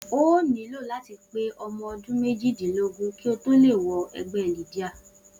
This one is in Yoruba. O óò nílò láti pé o̩mo̩ o̩dún méjìdínlógún kí ó tó lè wo̩ e̩gbé̩ Lydia